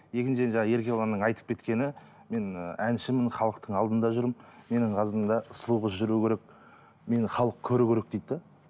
екіншіден еркебұланның айтып кеткені мен әншімін халықтың алдында жүрмін менің қасымда сұлу қыз жүру керек мені халық көру керек дейді де